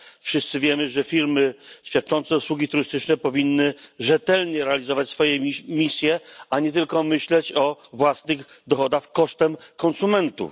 Wszyscy wiemy, że firmy świadczące usługi turystyczne powinny rzetelnie realizować swoje misje, a nie tylko myśleć o własnych dochodach kosztem konsumentów.